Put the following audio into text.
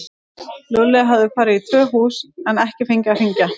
Lúlli hafði farið í tvö hús en ekki fengið að hringja.